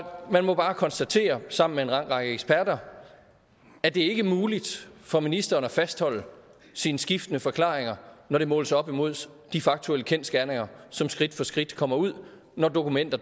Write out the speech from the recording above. man må bare konstatere sammen med en lang række eksperter at det ikke er muligt for ministeren at fastholde sine skiftende forklaringer når det måles op imod de faktuelle kendsgerninger som skridt for skridt kommer ud når dokumenter